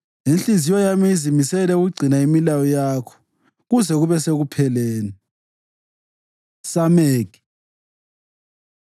Inhliziyo yami izimisele ukugcina imilayo yakho kuze kube sekupheleni. ס Samekh